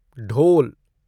ढोल